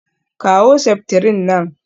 Kawo septrin nan